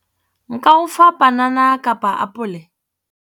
Nka o fa panana kapa apole.